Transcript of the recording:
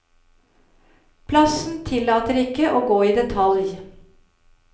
Plassen tillater ikke å gå i detalj.